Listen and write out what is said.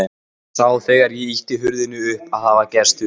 Sá þegar ég ýtti hurðinni upp að það var gestur.